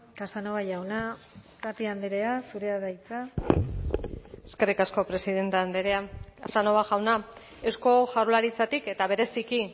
casanova jauna tapia andrea zurea da hitza eskerrik asko presidente andrea casanova jauna eusko jaurlaritzatik eta bereziki